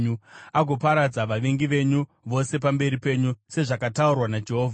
agoparadza vavengi venyu vose pamberi penyu, sezvakataurwa naJehovha.